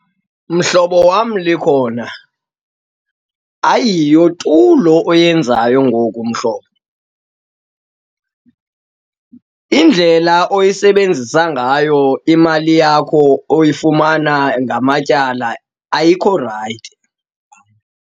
Mhlobo wam, Likhona, ayiyo tu lo oyenzayo ngoku mhlobo. Indlela oyisebenzisa ngayo imali yakho oyifumana ngamatyala ayikho rayithi.